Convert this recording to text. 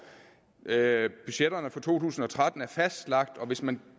budgetterne for to tusind og tretten er fastlagt hvis man